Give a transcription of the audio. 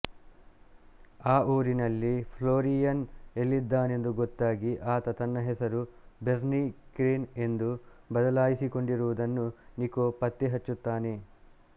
ಆ ಊರಿನಲ್ಲಿ ಫ್ಲೋರಿಯನ್ ಎಲ್ಲಿದ್ದಾನೆಂದು ಗೊತ್ತಾಗಿ ಆತ ತನ್ನ ಹೆಸರನ್ನು ಬೆರ್ನಿ ಕ್ರೇನ್ ಎಂದು ಬದಲಾಯಿಸಿಕೊಂಡಿರುವುದನ್ನು ನಿಕೊ ಪತ್ತೆ ಹಚ್ಚುತ್ತಾನೆ